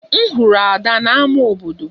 M hụrụ Ada na ámá obodo